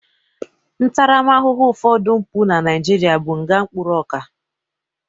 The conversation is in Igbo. Ntarama ahụhụ ụfodụ mpụ na Nigeria bụ nga mkpụrụ ọka